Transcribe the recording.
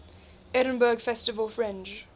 edinburgh festival fringe